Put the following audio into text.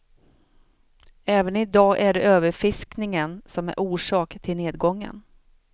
Även i dag är det överfiskningen som är orsak till nedgången.